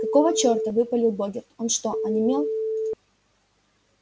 какого черта выпалил богерт что он онемел